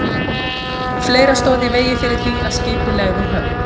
Fleira stóð í vegi fyrir því, að skipið legði úr höfn.